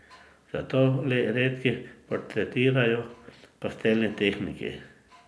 Zato le redki portretirajo v pastelni tehniki.